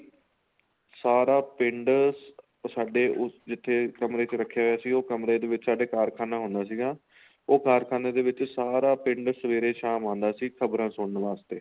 ਸਾਰਾ ਪਿੰਡ ਸਾਡੇ ਉਸ ਜਿੱਥੇ ਕਮਰੇ ਚ ਰੱਖੇ ਹੋਏ ਸੀ ਉਹ ਕਮਰੇ ਦੇ ਵਿੱਚ ਸਾਡੇ ਕਾਰਖਾਨਾ ਹੁੰਦਾ ਸੀਗਾ ਉਹ ਕਾਰਖਾਨੇ ਦੇ ਵਿੱਚ ਸਾਰਾ ਪਿੰਡ ਸੇਵੇਰੇ ਸ਼ਾਮ ਆਂਦਾ ਸੀ ਖ਼ਬਰਾ ਸੁਣਨ ਵਾਸਤੇ